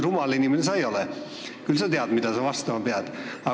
Rumal inimene sa ei ole, küll sa tead, mida sa vastama pead.